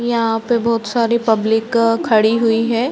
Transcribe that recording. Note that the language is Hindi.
यहाँ पर बहोत सारी पब्लिक खड़ी हुई है।